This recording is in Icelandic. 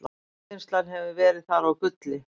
jarðvinnsla hefur verið þar á gulli